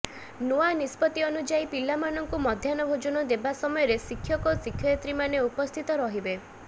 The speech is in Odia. ନୂଆ ନିଷ୍ପତି ଅନୁଯାୟୀ ପିଲାମାନଙ୍କୁ ମଧ୍ୟାହ୍ନ ଭୋଜନ ଦେବା ସମୟରେ ଶିକ୍ଷକ ଓ ଶିକ୍ଷୟତ୍ରୀମାନେ ଉପସ୍ଥିତ ରହିବେ